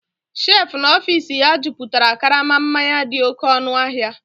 shelf n'ọfịs ya jupụtara karama mmanya dị oké ọnụ ahịa